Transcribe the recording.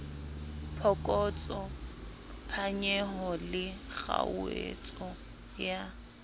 phokotso phanyeho le kgaotso ya